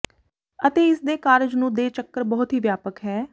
ਅਤੇ ਇਸ ਦੇ ਕਾਰਜ ਨੂੰ ਦੇ ਚੱਕਰ ਬਹੁਤ ਹੀ ਵਿਆਪਕ ਹੈ